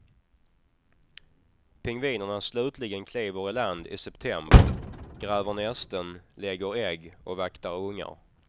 Pingvinerna slutligen kliver i land i september, gräver nästen, lägger ägg och vaktar ungar.